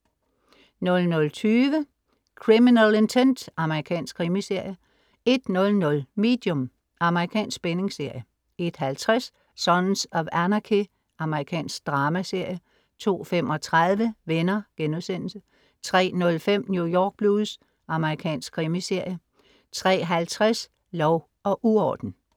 00.20 Criminal Intent. Amerikansk krimiserie 01.00 Medium. Amerikansk spændingsserie 01.50 Sons of Anarchy. Amerikansk dramaserie 02.35 Venner* 03.05 New York Blues. Amerikansk krimiserie 03.50 Lov og uorden